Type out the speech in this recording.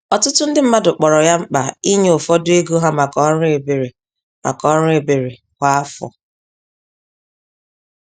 Ọtụtụ ndị mmadụ kpọrọ ya mkpa ịnye ụfọdụ ego ha màkà ọrụ ebere màkà ọrụ ebere kwa afọ.